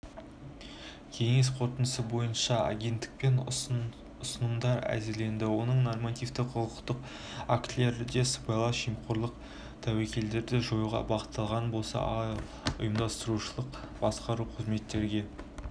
кеңес қорытындысы бойынша агенттікпен ұсынымдар әзірленді оның нормативтік құқықтық актілерде сыбайлас жемқорлық тәуекелдерді жоюға бағытталған болса ал ұйымдастырушылық-басқару қызметте